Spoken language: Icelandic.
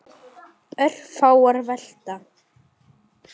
Þetta er því merkur staður.